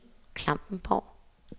Klampenborg